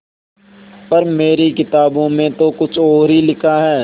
पर मेरी किताबों में तो कुछ और ही लिखा है